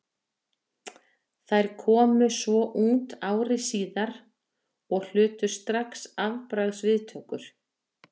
Þær komu svo út ári síðar og hlutu strax afbragðs viðtökur.